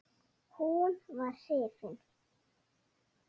Hún var hrifin.